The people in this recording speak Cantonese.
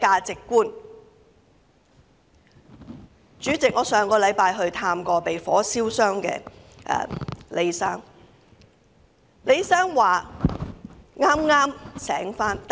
主席，我上星期曾探望被火燒傷的李先生。